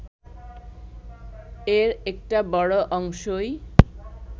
এর একটা বড় অংশই